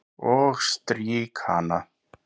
Og strýk hana.